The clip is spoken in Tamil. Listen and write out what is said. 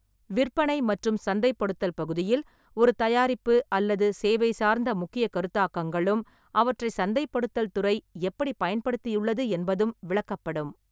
விற்பனை மற்றும் சந்தைப்படுத்தல் பகுதியில், ஒரு தயாரிப்பு அல்லது சேவை சார்ந்த முக்கியக் கருத்தாக்கங்களும், அவற்றை சந்தைப்படுத்தல் துறை எப்படிப் பயன்படுத்தியுள்ளது என்பதும் விளக்கப்படும்.